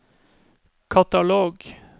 katalog